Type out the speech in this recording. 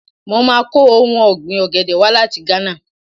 Mo máa kọ ohun ọ̀gbìn ọ̀gẹ̀dẹ̀ wá láti Gánà.